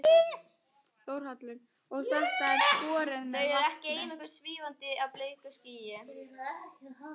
Þórhallur: Og þetta er skorið með vatni?